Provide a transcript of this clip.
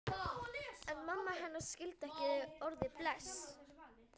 En mamma hennar skildi ekki orðið bless.